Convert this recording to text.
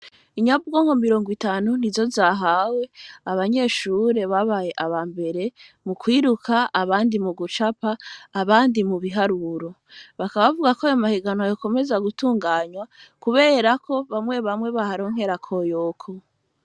Inyabwonko mirongo itanu nti zo zahawe abanyeshure babaye aba mbere mu kwiruka abandi mu gucapa abandi mu biharuro, bakabavuga ko ayo mahegano yakomeza gutunganywa kuberako bamwe bamwe baharonkera koyoko.